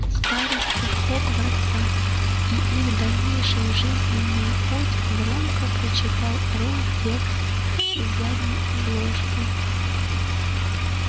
старосты хогвартса и их дальнейший жизненный путь громко прочитал рон текст с задней обложки